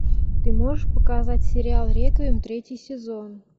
ты можешь показать сериал реквием третий сезон